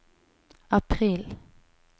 april